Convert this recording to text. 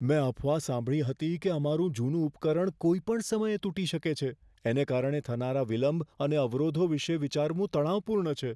મેં અફવા સાંભળી હતી કે અમારું જૂનું ઉપકરણ કોઈપણ સમયે તૂટી શકે છે. એને કારણે થનારા વિલંબ અને અવરોધો વિશે વિચારવું તણાવપૂર્ણ છે.